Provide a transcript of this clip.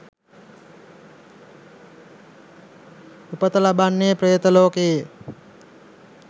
උපත ලබන්නේ ප්‍රේත ලෝකයේ.